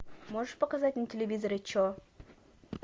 можешь показать на телевизоре че